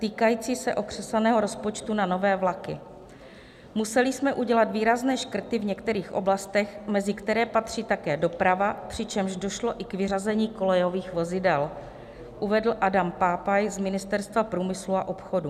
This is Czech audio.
týkající se okřesaného rozpočtu na nové vlaky: "´Museli jsme udělat výrazné škrty v některých oblastech, mezi které patří také doprava, přičemž došlo i k vyřazení kolejových vozidel,´ uvedl Adam Pápai z Ministerstva průmyslu a obchodu." -